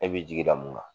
E b'i jigi da mun kan